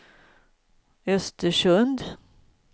Östersund